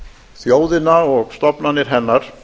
þjóðina og stofnanir hennar